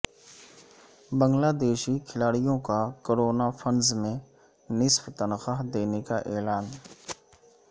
بنگلہ دیشی کھلاڑیوں کا کورونا فنڈز میں نصف تنخواہ دینے کا اعلان